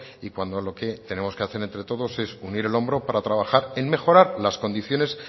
y cuando lo que tenemos que hacer entre todos es unir el hombro para trabajar en mejorar las condiciones